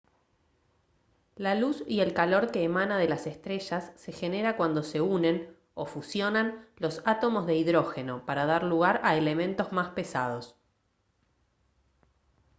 la luz y el calor que emana de las estrellas se genera cuando se unen o fusionan los átomos de hidrógeno para dar lugar a elementos más pesados